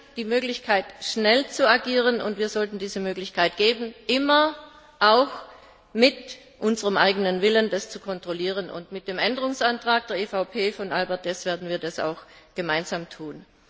Jetzt hat sie die Möglichkeit, schnell zu agieren, und wir sollten ihr diese Möglichkeit geben und dabei immer auch unseren eigenen Willen zeigen, das zu kontrollieren. Mit dem Änderungsantrag der EVP Fraktion von Albert Deß werden wir das auch gemeinsam tun.